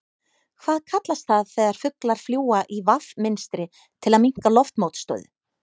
Hvað kallast það þegar fuglar fljúga í V mynstri til að minnka loftmótstöðu?